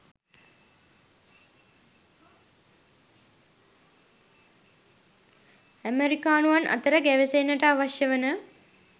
අමෙරිකානුවන් අතර ගැවසෙන්නට අවශ්‍ය වන